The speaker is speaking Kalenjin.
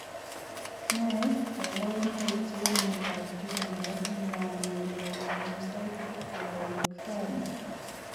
Nee kaparunoik chepo miondap juvenile myelomonocytic leukamia